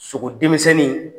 Sogo denmisɛnnin